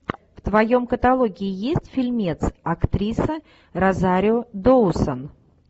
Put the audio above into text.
в твоем каталоге есть фильмец актриса розарио доусон